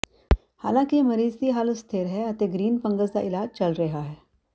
ਹਾਲਾਂਕਿ ਮਰੀਜ਼ ਦੀ ਹਾਲਤ ਸਥਿਰ ਹੈ ਅਤੇ ਗ੍ਰੀਨ ਫੰਗਸ ਦਾ ਇਲਾਜ ਚੱਲ ਰਿਹਾ ਹੈ